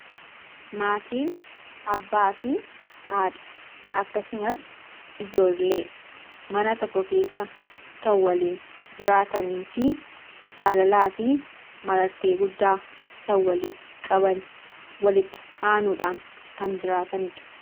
Maatiin abbaa fi haadha akkasumas ijoollee mana tokko keessa kan waliin jiraatanii fi jaalalaa fi marartee guddaa kan waliif qaban, walitti aanuudhaan kan jiraatanii dha.